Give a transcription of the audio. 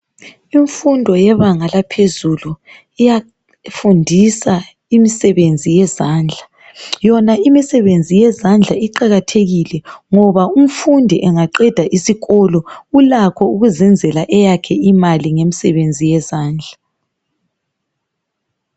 Imfundo yebanga laphezulu iyafundisa imsebenzi yezandla . Yona imisebenzi yezandla iqakathekile . Ngoba umfundi angaqeqeda isikolo ulakho ukuzenzela eyakhe imali ngemsebenzi yezandla .